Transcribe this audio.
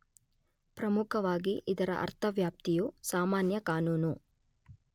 ಪ್ರಮುಖವಾಗಿ ಇದರ ಅರ್ಥ ವ್ಯಾಪ್ತಿಯು ಸಾಮಾನ್ಯ ಕಾನೂನು